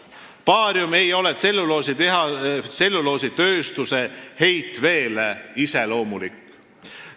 Baarium ei ole tselluloositööstuse heitveele iseloomulik.